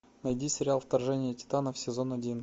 найди сериал вторжение титанов сезон один